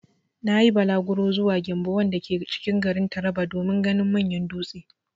Na yi bulaguro zuwa 'Gembu' wanda ke cikin garin Taraba manyan dutse.